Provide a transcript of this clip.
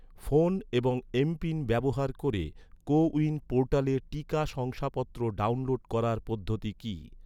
Phone এবং MPIN ব্যবহার করে, কো উইন পোর্টালে টিকা শংসাপত্র ডাউনলোড করার পদ্ধতি কী?